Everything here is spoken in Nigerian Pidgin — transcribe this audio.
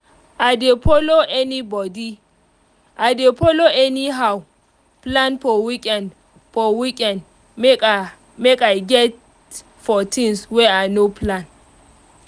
i dey follow anybody I dey follow anyhow plan for weekend for weekend make i make I get for things wey i no plan